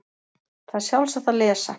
Það er sjálfsagt að lesa